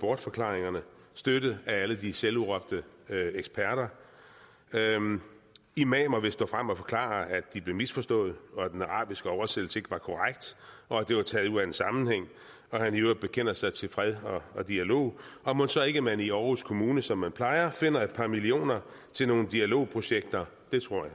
bortforklaringerne støttet af alle de selvudråbte eksperter imamer vil stå frem og forklare at de blev misforstået og at den arabiske oversættelse ikke var korrekt og at det var taget ud af en sammenhæng og at han i øvrigt bekender sig til fred og dialog og mon så ikke man i aarhus kommune som man plejer finder et par millioner til nogle dialogprojekter det tror jeg